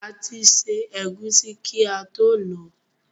A ti ṣẹ́ ẹ̀gúsí kí ató lọ̀ọ́.